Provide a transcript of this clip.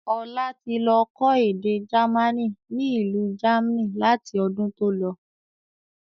Ọlá tí lọ kọ́ èdè jamaní ni ilu jamni láti ọdún tó lọ.